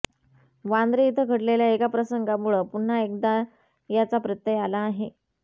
वांद्रे इथं घडलेल्या एका प्रसंगामुळं पुन्हा एकदा याचा प्रत्यय आला आहे